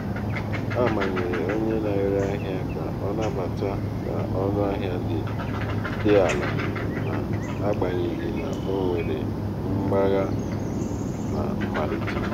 a manyere onye na-ere ahịa ka ọ nabata ka ọ nabata ọnụ ahịa dị ala n'agbanyeghị na o nwere mgbagha na mmalite.